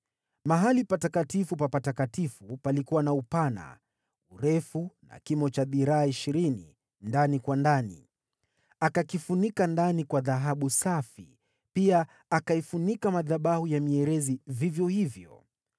Sehemu takatifu ya ndani ilikuwa na upana, urefu na kimo cha dhiraa ishirini ndani kwa ndani. Akaifunika ndani kwa dhahabu safi, pia akaifunika madhabahu ya mierezi vivyo hivyo.